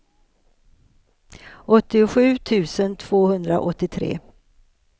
åttiosju tusen tvåhundraåttiotre